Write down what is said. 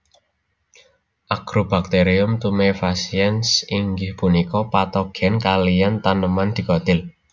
Agrobacterium tumefaciens inggih punika patogen kaliyan taneman dikotil